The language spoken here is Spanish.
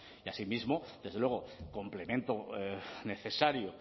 y asimismo desde luego complemento necesario